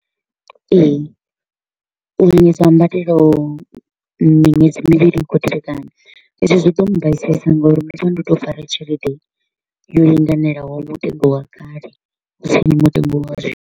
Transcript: Ee, u ha mbadelo miṅwedzi mivhili i kho u tevhekana, ezwi zwo ḓo mbaisesa nga uri ndo vha ndo to u fara tshelede yo linganelaho mutengo wa kale, hu si ni mutengo wa zwino.